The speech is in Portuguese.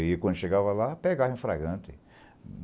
E quando chegava lá, pegava em flagrante.